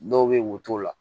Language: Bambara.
Dɔw bɛ woto la